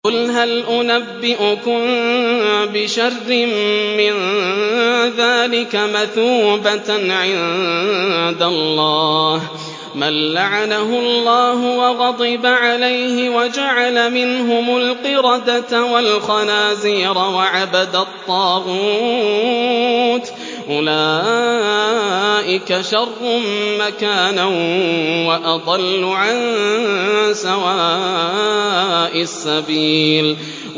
قُلْ هَلْ أُنَبِّئُكُم بِشَرٍّ مِّن ذَٰلِكَ مَثُوبَةً عِندَ اللَّهِ ۚ مَن لَّعَنَهُ اللَّهُ وَغَضِبَ عَلَيْهِ وَجَعَلَ مِنْهُمُ الْقِرَدَةَ وَالْخَنَازِيرَ وَعَبَدَ الطَّاغُوتَ ۚ أُولَٰئِكَ شَرٌّ مَّكَانًا وَأَضَلُّ عَن سَوَاءِ السَّبِيلِ